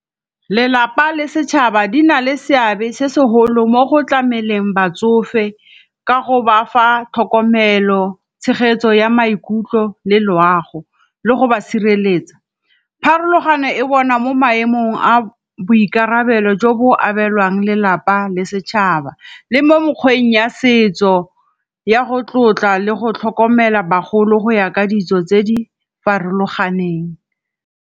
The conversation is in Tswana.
Lelapa le setšhaba di na le seabe se segolo mo go tlameleng batsofe ka go ba fa tlhokomelo, tshegetso ya maikutlo le loago le go ba sireletsa. Pharologano e bona mo maemong a boikarabelo jo bo abelwang lelapa le setšhaba le mo mokgweng ya setso ya go tlotla le go tlhokomela bagolo go ya ka dijo tse di farologaneng.